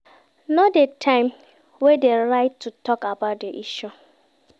Know di time wey de right to talk about di issue